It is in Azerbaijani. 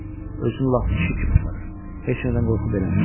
Özünü lap kişi kimi aparır, heç nədən qorxu beləmir.